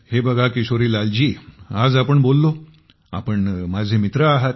हे बघा किशोरीलाल जी आज आपण बोललो आपण माझे मित्र आहात